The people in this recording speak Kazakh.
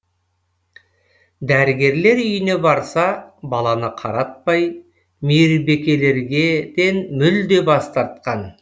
дәрігерлер үйіне барса баланы қаратпай мейірбекелер ден мүлде бас тартқан